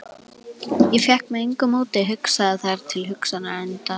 Ég fékk með engu móti hugsað þær hugsanir til enda.